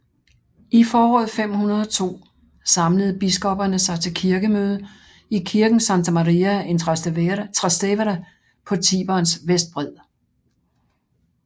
I foråret 502 samlede biskopperne sig til kirkemøde i kirken Santa Maria in Trastevere på Tiberens vestbred